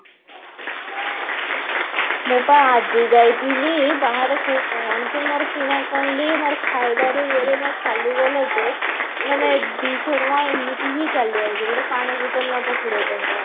ମୁଁ ବା ଆଜି ଯାଇଥିଲି ବାହାରକୁ କଣ ଯେ ମୋର କିଣା କରିଲି ମୋର ଖାଇବାରେ ୟାଡେ ମୋର ଚାଲି ଗଲା ଯେ ମାନେ ଦୁଇଶ ଟଙ୍କା ଏମିତି ହିଁ ଚାଲି ଯାଉଛି ଗୁଟେ ପାଣି ବୋତଲ ନବ କୋଡିଏ ଟଙ୍କା